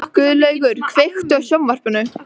Guðlaugur, kveiktu á sjónvarpinu.